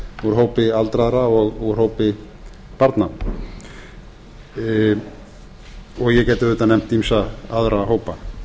úr hópi aldraðra og úr hópi barna ég get auðvitað nefnt ýmsa aðra hópa